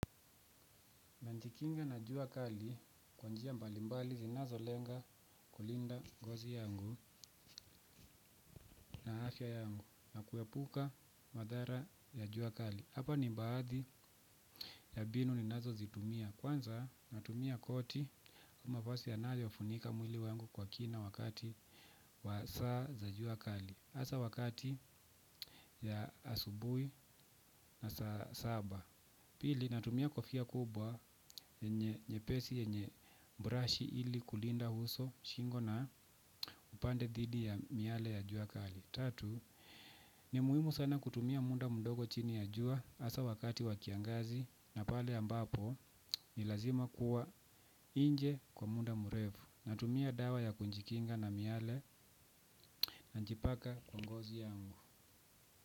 Nina jikinga na jua kali kwanjia mbalimbali zinazo lenga kulinda ngozi yangu na afya yangu na kuepuka madhara ya jua kali. Hapa ni baadhi ya mbinu ninazozitumia. Kwanza ninatumia koti au mavazi yanayofunika mwili wangu kwa kina wakati wa saa za jua kali hasa wakati wa asubuhi na saa saba. Pili ninatumia kofia kubwa nyepesi yenye brashi ili kulinda uso shingo na upande dhidi ya miale ya jua kali. Tatu, ni muhimu sana kutumia muda mdogo chini ya jua hasa wakati wa kiangazi na pale ambapo ni lazima kuwa nje kwa muda mrefu. Natumia dawa ya kujikinga na miale ninajipaka kwa ngozi yangu.